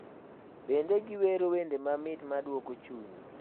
Bende giwero wende mamit maduoko chuny .